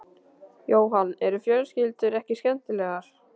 Jóhann: Eru fjölskyldur ekki skemmtilegar?